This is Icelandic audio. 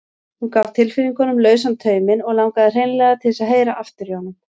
Hún gaf tilfinningunum lausan tauminn og langaði hreinlega til þess að heyra aftur í honum.